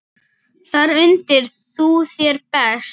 Þar undir þú þér best.